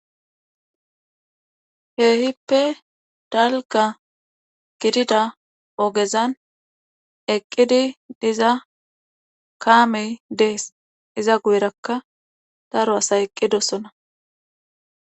Keehippe dalgga gidida ogezan eqqidi diza kaamey dees, iza guyerakka daro asay eqqidosona.